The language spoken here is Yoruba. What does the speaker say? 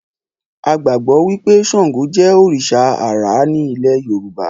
A gbàgbọ́ wí pé Ṣàǹgò jẹ́ òrìṣà àrá ní ilẹ́ẹ Yorùbá